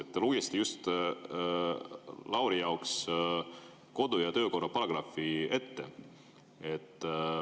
Te just lugesite Laurile ette kodu- ja töökorra paragrahvi.